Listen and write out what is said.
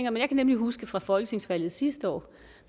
om jeg kan huske fra folketingsvalget sidste år